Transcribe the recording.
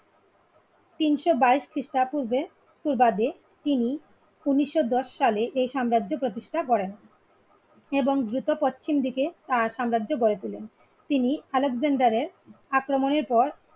তিনশো বাইশ খ্রিস্টা পূর্বে পূর্বাদে তিনি উনিশও দশ সালে সাম্রাজ্য প্রতিষ্ঠা করেন এবং দ্রুত পশ্চিম দিকে তার সাম্রাজ্য গড়ে তোলেন তিনি আলেকজান্ডারের আক্রমণের পর